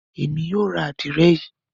Emi yoo ra adire Yi.